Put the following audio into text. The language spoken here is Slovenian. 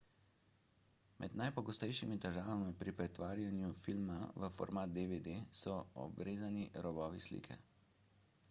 med najpogostejšimi težavami pri pretvarjanju filma v format dvd so obrezani robovi slike